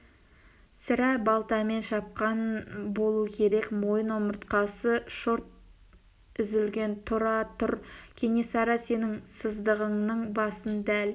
сірә балтамен шапқан болу керек мойын омыртқасы шорт үзілген тұра тұр кенесары сенің сыздығыңның басын дәл